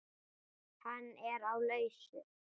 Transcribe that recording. Hann er á lausu.